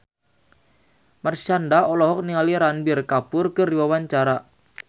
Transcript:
Marshanda olohok ningali Ranbir Kapoor keur diwawancara